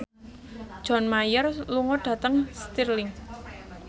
John Mayer lunga dhateng Stirling